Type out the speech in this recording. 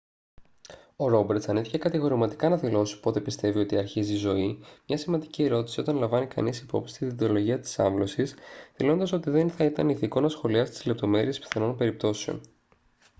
ο ρόμπερτς αρνήθηκε κατηγορηματικά να δηλώσει πότε πιστεύει ότι αρχίζει η ζωή μια σημαντική ερώτηση όταν λαμβάνει κανείς υπόψη τη δεοντολογία της άμβλωσης δηλώνοντας ότι δεν θα ήταν ηθικό να σχολιάσει τις λεπτομέρειες πιθανών περιπτώσεων